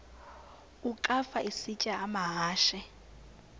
ukafa isitya amahashe